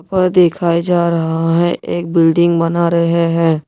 और दिखाई जा रहा है एक बिल्डिंग बना रहे हैं।